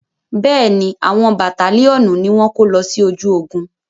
Bẹ́ẹ̀ni, àwọn bàtálíọ̀nù ni wọ́n kó lọ sí ojú ogun.